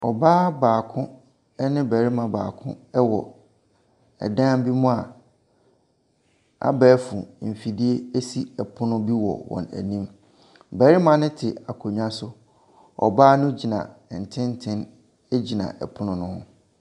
Ɔbaa baako ne barima baako wɔ ɛdan bi mu a abɛɛfo mfidie esi ɛpono bi wɔ wɔn anim. Barima no te akonnwa so. Ɔbaa no gyina tenten gyina ɛpono no ho.